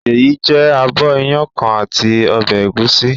Ṣèyí jẹ abọ́ iyán kan àti ọbẹ̀ ẹ̀gúsí.